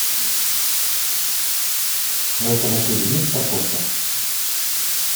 в этом отеле есть парковка